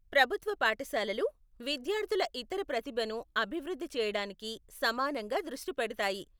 ప్రభుత్వ పాఠశాలలు విద్యార్థుల ఇతర ప్రతిభను అభివృద్ధి చేయడానికి సమానంగా దృష్టి పెడతాయి.